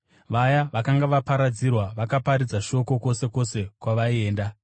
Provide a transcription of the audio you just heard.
Vaya vakanga vaparadzirwa vakaparidza shoko kwose kwose kwavaienda.